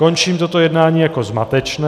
Končím toto jednání jako zmatečné.